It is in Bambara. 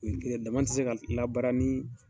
N terikɛ daman tɛ se ka labara ni